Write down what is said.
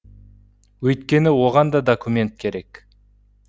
өйткені оған да документ керек